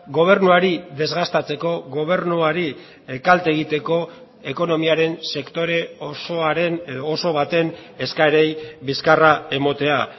gobernuari desgastatzeko gobernuari kalte egiteko ekonomiaren sektore osoaren edo oso baten eskaerei bizkarra ematea